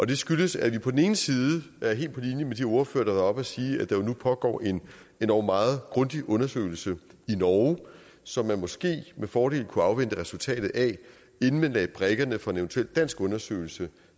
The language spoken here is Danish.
det skyldes at vi er helt på linje med de ordførere der og sige at der jo nu pågår en endog meget grundig undersøgelse i norge som man måske med fordel kunne afvente resultatet af inden man lagde brikkerne fra en eventuel dansk undersøgelse